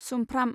सुमफ्राम